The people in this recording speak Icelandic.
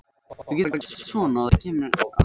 Lundarskóli